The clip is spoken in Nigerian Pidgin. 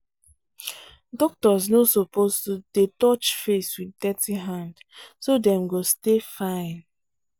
doctors no suppose to dey touch face with dirty hand so dem go stay fine.